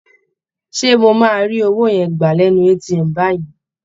Ṣé mo máa rí owó yẹn gbà lẹ́nu ATM báyìí?